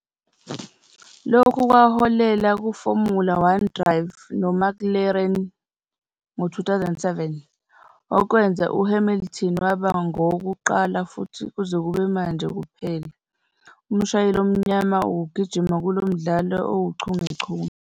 Lokhu kwaholela kuFormula One drive noMcLaren ngo-2007, okwenza uHamilton waba ngowokuqala, futhi kuze kube manje kuphela, umshayeli omnyama ukugijima kulo mdlalo owuchungechunge.